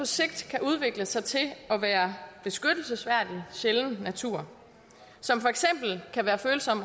sigt kan udvikle sig til at være beskyttelsesværdig sjælden natur som for eksempel kan være følsom